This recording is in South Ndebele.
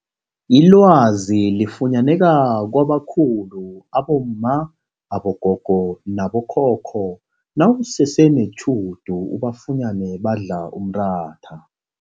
Ilwazi liyafunyaneka kwabakhulu abomma, abogogo nabo khokho nawusese netjhudu ubafunyene badla umratha.